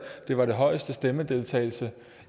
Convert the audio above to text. det var den højeste valgdeltagelse